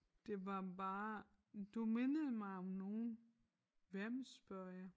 Det var bare du mindede mig om nogen hvem spørger jeg